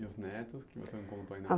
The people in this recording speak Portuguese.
E os netos que você não contou ainda? Ah,